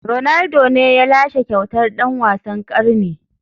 Ronaldo ne ya lashe kyautar dan wasan karni.